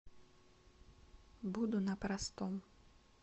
буду на простом